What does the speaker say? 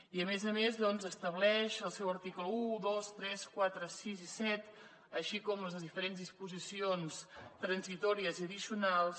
i a més a més doncs estableix que els seus articles un dos tres quatre sis i set així com les diferents disposicions transitòries i addicionals